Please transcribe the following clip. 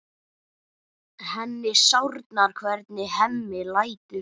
Henni sárnar hvernig Hemmi lætur.